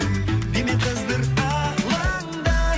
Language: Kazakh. дене қыздыр алаңды